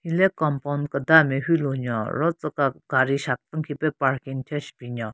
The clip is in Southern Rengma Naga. Hile compound keda nme hyulu nyo ro tsüka gari shapvun khipe parking thyu shu binyon.